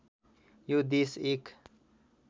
यो देश एक